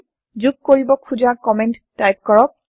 যোগ কৰিব খোজা কমেন্ট টাইপ কৰক